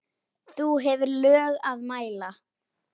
þú hefur lög að mæla